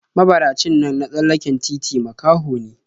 Mabaracin nan na tsallaken titi makaho ne/